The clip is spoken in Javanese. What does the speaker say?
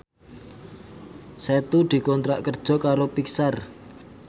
Setu dikontrak kerja karo Pixar